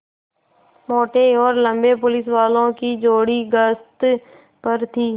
मोटे और लम्बे पुलिसवालों की जोड़ी गश्त पर थी